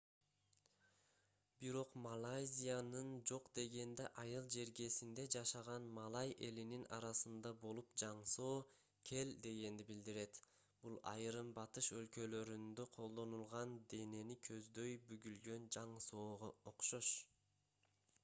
бирок малайзиянын жок дегенде айыл жергесинде жашаган малай элинин арасында бул жаңсоо кел дегенди билдирет бул айрым батыш өлкөлөрүндө колдонулган денени көздөй бүгүлгөн жаңсоого окшош